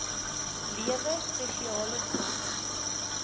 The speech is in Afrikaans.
lewe spesiale sorg